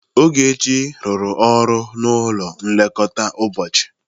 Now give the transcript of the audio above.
Ogechi rụrụ ọrụ n'ụlọ nlekọta ụbọchị.